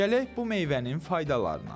Gələk bu meyvənin faydalarına.